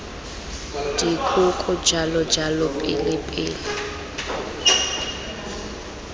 dikoko jalo jalo pele pele